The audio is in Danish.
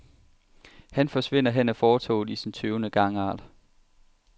Han forsvinder hen ad fortovet i sin tøvende gangart.